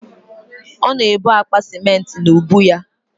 Ọ na-ebu akpa ciment n'ubu ya